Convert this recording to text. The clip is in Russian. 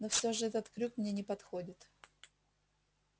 но все же этот крюк мне не подходит